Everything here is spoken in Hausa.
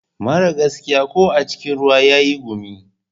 Mara gaskiya ko a cikin ruwa yayi gumi.